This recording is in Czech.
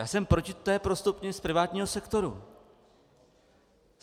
Já jsem proti té prostupnosti z privátního sektoru.